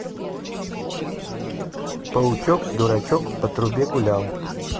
паучок дурачек по трубе гулял